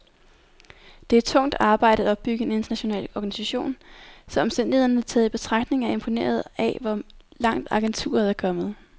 Det er tungt arbejde at opbygge en international organisation, så omstændighederne taget i betragtning er jeg imponeret af, hvor langt agenturet er kommet.